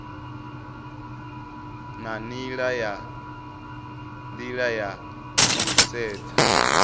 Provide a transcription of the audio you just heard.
na nila ya u sedza